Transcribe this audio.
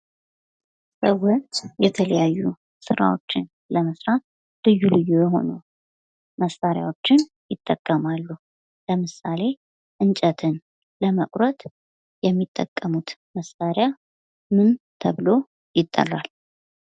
ሰዎች የተለያዩ ስራዎችን ለመስራት ልዩ ልዩ የሆኑ መሳርያዎችን ይጠቀማሉ። ለምሳሌ እንጨትን ለመቁረጥ የሚጠቀሙት መሳርያ ምን ተብሎ ይጠራል?